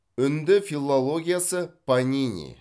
үнді филологиясы панини